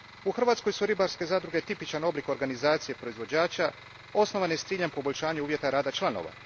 U Hrvatskoj su ribarske zadruge tipičan oblik organizacije proizvođača, osnovane s ciljem poboljšanja uvjeta rada članova.